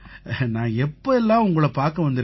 நான் எப்ப எல்லாம் உங்களைப் பார்க்க வந்திருக்கேனோ